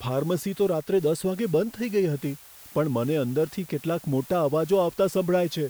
Pharmacy તો રાત્રે દસ વાગ્યે બંધ થઈ ગઈ હતી. પણ મને અંદરથી કેટલાક મોટા અવાજો આવતા સંભળાય છે.